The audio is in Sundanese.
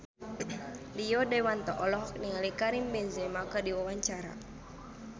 Rio Dewanto olohok ningali Karim Benzema keur diwawancara